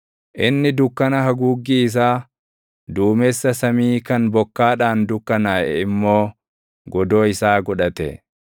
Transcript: Inni dukkana haguuggii isaa, duumessa samii kan bokkaadhaan dukkanaaʼe immoo godoo isaa godhate.